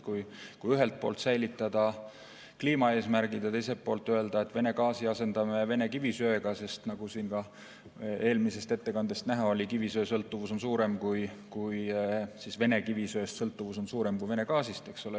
Ühelt poolt tuleks säilitada kliimaeesmärgid ja teiselt poolt öelda, et Vene gaasi asendame Vene kivisöega, sest nagu siin ka eelmisest ettekandest näha oli, Vene kivisöest sõltuvus on Euroopas suurem kui sõltuvus Vene gaasist.